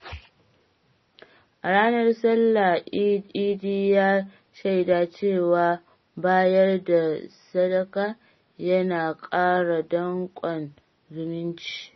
A ranar Sallah, Idi ya shaida cewa bayar da sadaka yana ƙara danƙon zumunci.